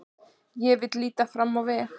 Ég vil líta fram á veg.